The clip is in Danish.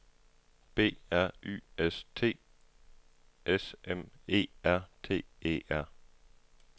B R Y S T S M E R T E R